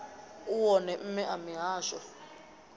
u wone mme a mihasho